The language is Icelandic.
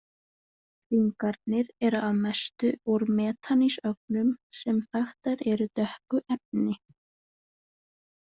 Hringarnir eru að mestu úr metanísögnum sem þaktar eru dökku efni.